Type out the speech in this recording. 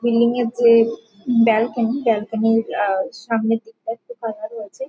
building- এর যে balcony balcony -র আ সামনের দিকটা একটু ফাঁকা রয়েছে |